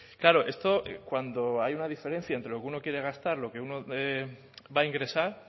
claro esto cuando hay una diferencia entre lo que uno quiere gastar y lo que uno va a ingresar